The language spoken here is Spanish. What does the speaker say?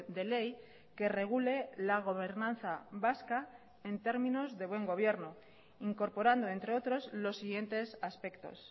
de ley que regule la gobernanza vasca en términos de buen gobierno incorporando entre otros los siguientes aspectos